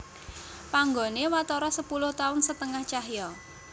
Panggoné watara sepuluh taun setengah cahya